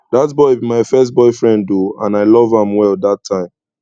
dat boy be my first boyfriend oo and i love am well dat time